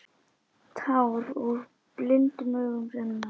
Tár úr blindum augum renna.